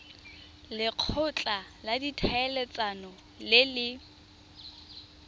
lekgotla la ditlhaeletsano le le